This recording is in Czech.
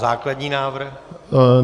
Základní návrh?